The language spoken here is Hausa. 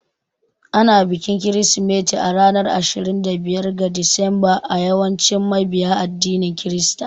Ana bikin Kirsimeti a ranar Ashirin da biyar ga Disamba a yawancin mabiya addinin Kirista.